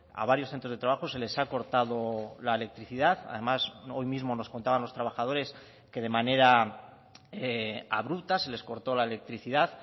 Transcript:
a varios centros de trabajo se les ha cortado la electricidad además hoy mismo nos contaban los trabajadores que de manera abrupta se les cortó la electricidad